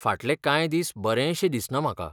फाटलें कांय दीस बरेंशें दिसना म्हाका.